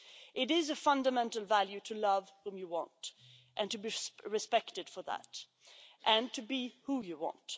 It is a fundamental value to love whom you want and to be respected for that, and to be who you want.